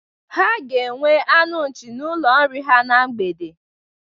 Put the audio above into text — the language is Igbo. Ha ga-enwe anụ nchi n'ụlọ nri ha na mgbede.